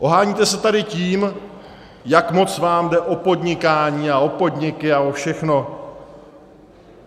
Oháníte se tady tím, jak moc vám jde o podnikání a o podniky a o všechno.